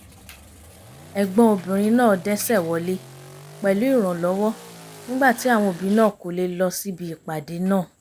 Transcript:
ẹ̀gbọ́n obìnrin náà dẹ́sẹ̀ wọlé pẹ̀lú ìrànlọ́wọ́ nígbà tí àwọn òbí náà kò lè lọ síbi ìpàdé náà